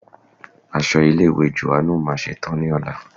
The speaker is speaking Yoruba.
Aṣọ ilé ìwé Jòhánù máa ṣe tán ní ọ̀la.